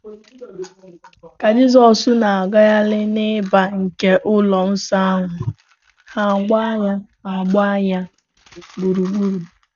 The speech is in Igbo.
Ka Jisọs na - agagharị n’ị̀bà nke ụlọ nsọ ahụ, ha agbaa ya ha agbaa ya gburugburu.